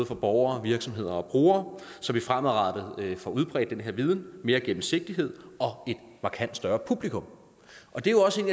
for borgere virksomheder og brugere så vi fremadrettet får udbredt den her viden mere gennemsigtighed og et markant større publikum det er også en